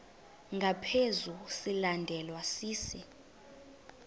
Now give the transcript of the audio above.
ngaphezu silandelwa sisi